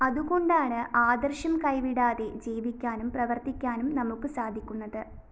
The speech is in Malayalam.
അതുകൊണ്ടാണ് ആദര്‍ശം കൈവിടാതെ ജീവിക്കാനും പ്രവര്‍ത്തിക്കാനും നമുക്ക് സാധിക്കുന്നത്